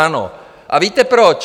Ano, a víte, proč?